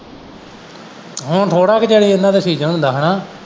ਹੁਣ ਥੋੜਾ ਕ ਚਿਰ ਹੀ ਇਹਨਾਂ ਦਾ ਸੀਜ਼ਨ ਹੁੰਦਾ ਹਨਾਂ।